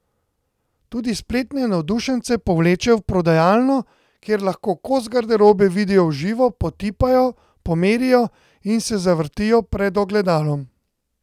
Tudi spletne navdušence povleče v prodajalno, kjer lahko kos garderobe vidijo v živo, potipajo, pomerijo in se zavrtijo pred ogledalom.